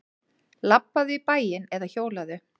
Labbaðu í bæinn eða hjólaðu.